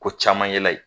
Ko caman ye la ye